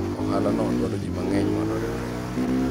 ohala no dwaro ji mang'eny mondo oriwre